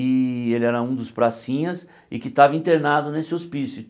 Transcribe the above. e ele era um dos pracinhas e que estava internado nesse hospício.